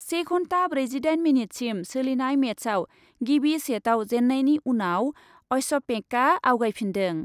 से घन्टा ब्रैजिदाइन मिनिटसिम सोलिनाय मेचआव गिबि सेटआव जेन्नायनि उनाव अस्यपेंकआ आवगायफिन्दों।